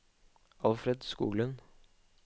Alfred Skoglund